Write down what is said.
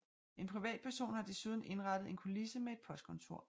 En privatperson har desuden indrettet en kulisse med et postkontor